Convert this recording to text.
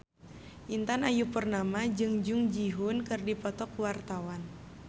Intan Ayu Purnama jeung Jung Ji Hoon keur dipoto ku wartawan